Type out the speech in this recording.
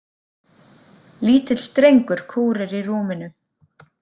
Lítill drengur kúrir í rúminu.